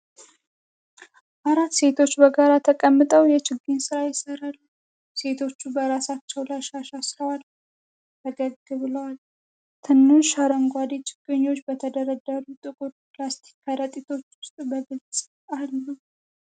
አራት ሴቶች በጋራ ተቀምጠው የችግኝ ሥራ ይሠራሉ። ሴቶቹ በራሳቸው ላይ ሻሽ አስረዋል፤ ፈገግ ብለዋል። ትናንሽ አረንጓዴ ችግኞች በተደረደሩ ጥቁር ፕላስቲክ ከረጢቶች ውስጥ በግልጽ አሉ።